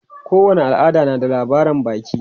Kowane al'ada na da labaran baki.